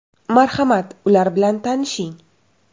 Marhamat, ular bilan tanishing.